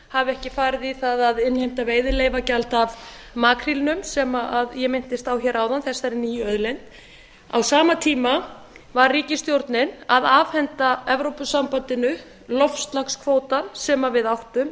hafi ekki farið í það að innheimta veiðileyfagjald af makrílnum sem ég minntist á áðan þessari nýju auðlind á sama tíma var ríkisstjórnin að afhenda evrópusambandinu loftslagskvótann sem við áttum